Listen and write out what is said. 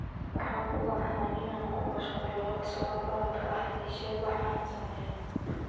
waxaan u baahanahay inaan ku mashquulo laba socod baradka ah ii sheeg waxa aan sameeyo